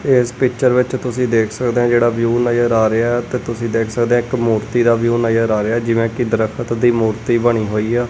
ਇਸ ਪਿਕਚਰ ਵਿੱਚ ਤੁਸੀਂ ਦੇਖ ਸਕਦੇ ਹ ਜਿਹੜਾ ਵਿਊ ਨਜ਼ਰ ਆ ਰਿਹਾ ਤੇ ਤੁਸੀਂ ਦੇਖ ਸਕਦੇ ਇੱਕ ਮੂਰਤੀ ਦਾ ਵਿਊ ਨਜ਼ਰ ਆ ਰਿਹਾ ਜਿਵੇਂ ਕਿ ਦਰਖਤ ਦੀ ਮੂਰਤੀ ਬਣੀ ਹੋਈ ਆ।